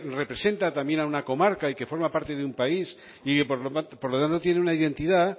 representa también a una comarca y que forma parte de un país y que por lo tanto tiene una identidad